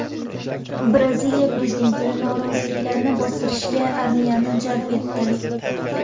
Braziliya prezidenti noroziliklarni bostirishga armiyani jalb etdi.